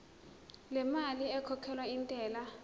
lemali ekhokhelwa intela